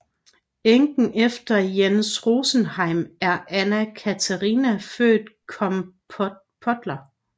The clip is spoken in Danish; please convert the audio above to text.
Enken efter Jens Rosenheim er Anna Catharina født Compoteller